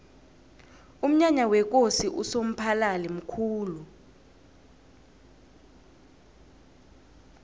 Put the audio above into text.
umnyanya wekosi usomphalili mkhulu